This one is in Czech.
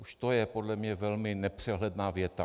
Už to je podle mě velmi nepřehledná věta.